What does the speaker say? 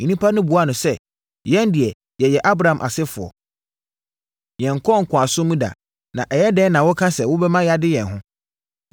Nnipa no buaa no sɛ, “Yɛn deɛ yɛyɛ Abraham asefoɔ. Yɛnkɔɔ nkoasom mu da, na ɛyɛ dɛn na woka sɛ wobɛma yɛade yɛn ho?”